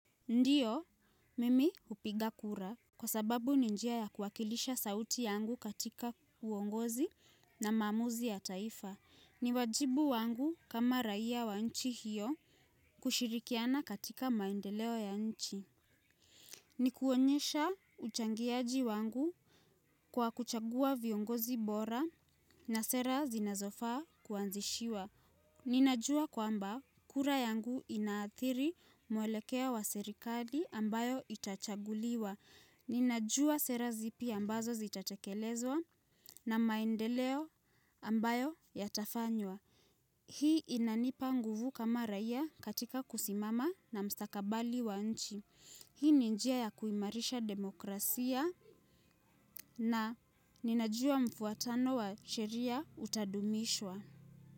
Ndiyo, mimi hupiga kura. Kwa sababu ni njia ya kuhakikisha sauti yangu katika uongozi na maamuzi ya taifa. Ni wajibu wangu kama raia wa nchi hiyo kushirikiana katika maendeleo ya nchi. Ni kuonyesha uchangiaji wangu kwa kuchagua viongozi bora na sera zinazofaa kuanzishiwa. Ninajua kwamba kura yangu inaathiri mwelekeo wa serikali ambayo itachaguliwa. Ninajua sera zipi ambazo zitatekelezwa na maendeleo ambayo yatafanywa. Hii inanipa nguvu kama raia katika kusimama na mstakabali wa nchi. Hii ni njia ya kuimarisha demokrasia na ninajua mfuatano wa sheria utadumishwa.